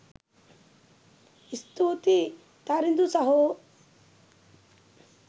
ස්තුතියි තරිදු සහෝ